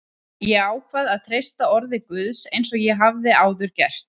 Ég ákvað að treysta orði Guðs eins og ég hafði áður gert.